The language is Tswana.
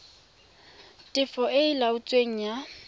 tefo e e laotsweng ya